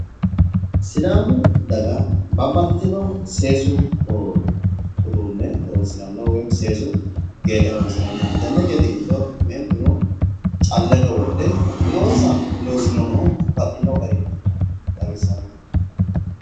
Sidaamu daga babbaxxitino seesu uduunne horonsiranno woyimmi seesu geexe horonsiranno tenne geexe giddo meentuno calleno wodhe umonsa loosiranno babbaxxino garinni xawissanno